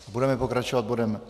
Budeme pokračovat bodem